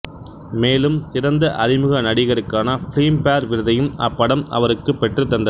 மேலும் சிறந்த அறிமுக நடிகருக்கான பிலிம்பேர் விருதையும் அப்படம் அவருக்கு பெற்று தந்தது